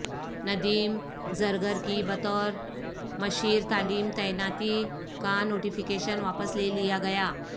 ندیم زرگر کی بطور مشیرتعلیم تعیناتی کا نوٹیفکیشن واپس لےلیا گیا